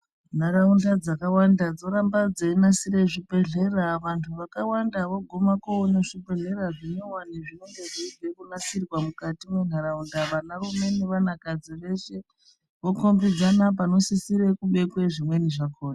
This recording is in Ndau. Ntaraunda dzakawanda dzoramba dzeyinasire zvibhedhlera, vantu vakawanda voguma kuwona zvibhedhlera zvinyuwani zvinonge zveyibva kunasirwa mukati mentaraunda, vana vamweni nevanakadzi veshe, vokombidzana panosisire kubekwe zvimweni zvakona.